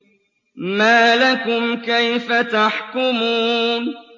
مَا لَكُمْ كَيْفَ تَحْكُمُونَ